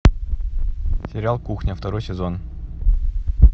сериал кухня второй сезон